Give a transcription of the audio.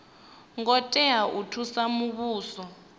ngo tea u thusa muvhuso